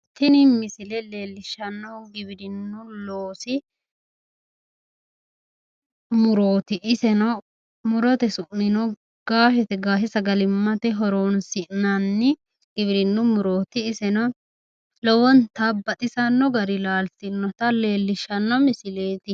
Tini misile leellishshannohu giwirinnu loosi murooti iseno murote su'mino gaashete gaashe sagalimmate horonsi'nanni giwirinnu murooti iseno lowonta baxisanno gari laaltinota leellishshanno misileeti.